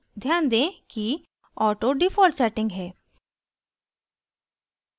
ध्यान दें कि auto default setting है